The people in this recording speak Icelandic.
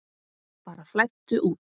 Bara flæddu út.